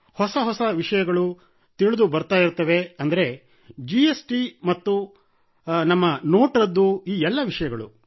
ಹೊಸ ಹೊಸ ವಿಷಯಗಳು ತಿಳಿದುಬರುತ್ತಿರುತ್ತವೆ ಅಂದರೆ ಜಿಎಸ್ ಟಿ ಇತ್ತು ಮತ್ತು ನಮ್ಮ ನೋಟ್ ರದ್ದು ಎಲ್ಲಾ ವಿಷಯಗಳು